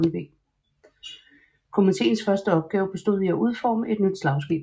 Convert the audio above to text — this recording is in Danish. Komitéens første opgave bestod i at udforme et nyt slagskib